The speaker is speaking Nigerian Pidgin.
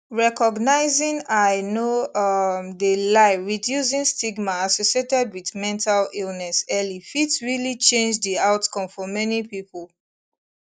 recognizing i no um de lie reducing stigma associated wit mental illness early fit realli change di outcome for many pipo